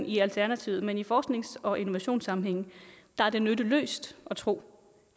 i alternativet men i forsknings og innovationssammenhænge er det nytteløst at tro